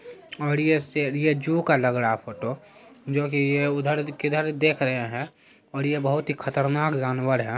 और ये शेर ये जू का लग रहा फोटो जो की ये उधर किधर देख रहे है और ये बहुत ही खतरनाक जानवर है।